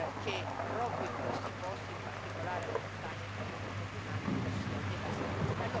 che proprio in questi posti, in particolare la montagna, il cambiamento climatico sia devastante.